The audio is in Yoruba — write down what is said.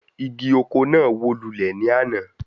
Igi oko náà wó lulẹ̀ ní àná